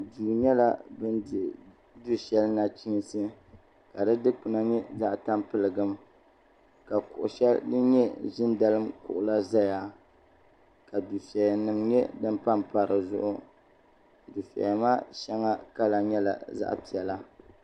Duu yɛla bini dihi su shɛli nachinsi ka di dukpuna yɛ zaɣi tampiligim ka kuɣu shɛli din yɛ zinidalim kuɣu la zaya ka dufɛya nima yɛ din pam paya di zuɣu dufɛya maa shɛŋa kala yɛla zaɣi piɛlla.